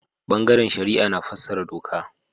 Bangaren shari'a na fassara doka.